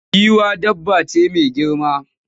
Giwa dabba ce mai girma.